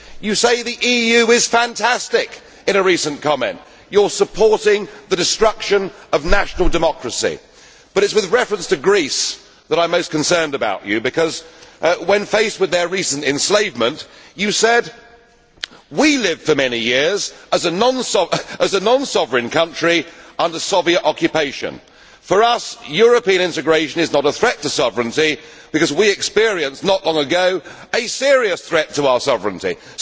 You say the EU is fantastic in a recent comment. You are supporting the destruction of national democracy. But it is with reference to Greece that I am most concerned about you because, when faced with their recent enslavement, you said we lived for many years as a non sovereign country, under Soviet occupation. For us European integration is not a threat to sovereignty because we experienced not long ago a serious threat to our sovereignty.'